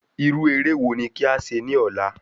Irú eré wo ni kí a ṣe ní ọ̀la?